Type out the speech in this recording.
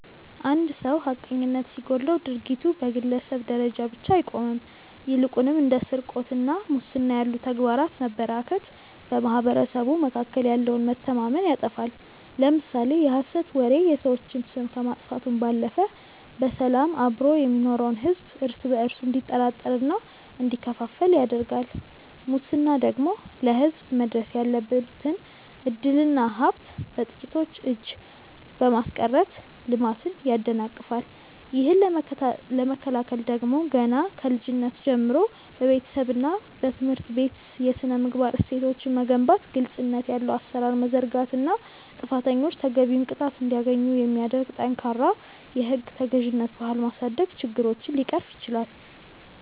አንድ ሰው ሐቀኝነት ሲጎድለው ድርጊቱ በግለሰብ ደረጃ ብቻ አይቆምም ይልቁንም እንደ ስርቆትና ሙስና ያሉ ተግባራት መበራከት በማኅበረሰቡ መካከል ያለውን መተማመን ያጠፋሉ። ለምሳሌ የሐሰት ወሬ የሰዎችን ስም ከማጥፋቱም ባለፈ በሰላም አብሮ የሚኖረውን ሕዝብ እርስ በእርሱ እንዲጠራጠርና እንዲከፋፈል ያደርጋል ሙስና ደግሞ ለሕዝብ መድረስ ያለበትን ዕድልና ሀብት በጥቂቶች እጅ በማስቀረት ልማትን ያደናቅፋል። ይህንን ለመከላከል ደግሞ ገና ከልጅነት ጀምሮ በቤተሰብና በትምህርት ቤት የሥነ-ምግባር እሴቶችን መገንባት ግልጽነት ያለው አሠራር መዘርጋትና ጥፋተኞች ተገቢውን ቅጣት እንዲያገኙ የሚያደርግ ጠንካራ የሕግ ተገዥነት ባህል ማሳደግ ችግሮችን ሊቀርፍ ይችላል።